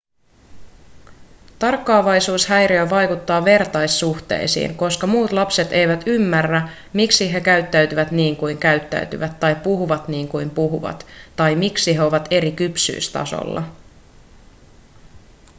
tarkkaavaisuushäiriö vaikuttaa vertaissuhteisiin koska muut lapset eivät ymmärrä miksi he käyttäytyvät niin kuin käyttäytyvät tai puhuvat niin kuin puhuvat tai miksi he ovat eri kypsyystasolla